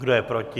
Kdo je proti?